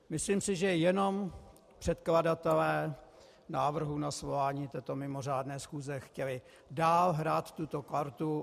Myslím si, že jenom předkladatelé návrhu na svolání této mimořádné schůze chtěli dál hrát tuto kartu.